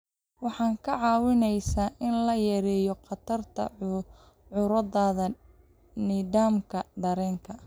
Waxay kaa caawinaysaa in la yareeyo khatarta cudurrada nidaamka dareenka.